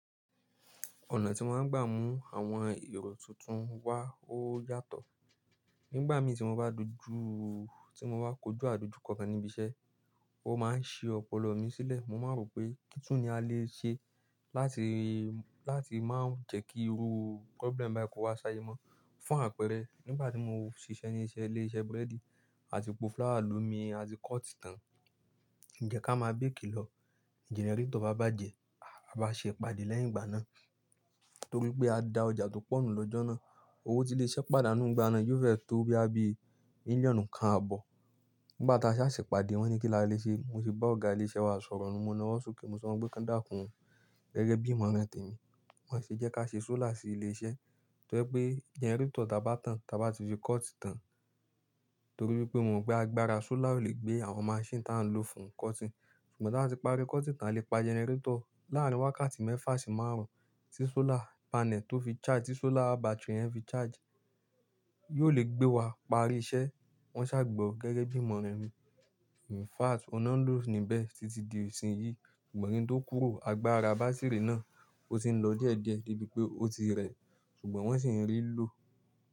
Ọ̀nà tí mo máa ń gbà mú àwọn èrò tuntun wá ó yàtọ̀. Nígbà mi tí mo bá dojú, tí mo bá kojú àdojúko kan ni ibi iṣẹ́, ó máa ń si ọpọlọ mi sílẹ̀. Mo máa ń rò pé kí tun ni a lè ṣe láti, láti máa jẹ́ kí irú problem báyìí kó wá ṣáyẹmọ́. Fún àpẹẹrẹ, nígbà tí mo ń ṣiṣẹ́ ní ilé-iṣẹ́ búrẹ́dì àti pọ̀ flour lomi àti cut tán, n jẹ́ ká máa bake lọ, generator bá bàjẹ́, a bá ṣe ìpàdé lẹ́yìn ìgbà náà. Torí pé a da ọjà tó pọ̀ nù lọ́jọ́ náà, owó tí lè ṣe pàdánù nígbà náà yóò fẹ́ tó bí i bíi mílíọ̀nù kan àbọ̀. Nígbà tá a sa ṣe ìpàdé, wọ́n ní kí la lè ṣe, mo sì bá ọ̀gá ilé iṣẹ́ wa sọ̀rọ̀, mo náwó sókè, mo sọ pé kí wọ́n dàkún gẹ́gẹ́ bí ìmọ̀ràn tẹmi. Wọ́n ṣe jẹ́ ká ṣe solar sí ilé iṣẹ́ torí pé generator ta bá tán, ta bá ti fi cut tán. Torí pé mo mọ̀ pé agbára solar ó lè gbé àwọn machine tá a ń lò fún cutting. Ṣùgbọ́n tí wọ́n bá ti parí cutting tán lè pa generator. Láàárín wákàtí mẹ́fà sí márùn-ún tí solar panel tó fi charge, tí solar battery yẹn fi charge, yóò lè gbé wa parí iṣẹ́. Wọ́n ṣà gbọ gẹ́gẹ́ bí ìmọ̀ràn mi. In fact, ohun na lo níbẹ̀ títí di ìsìn yìí, ṣùgbọ́n kin tó kúrò, agbára bátírì náà ó ti ń lọ díẹ̀díẹ̀ debi pé ó ti rẹ̀, ṣùgbọ́n wọ́n sì ń rí i lò.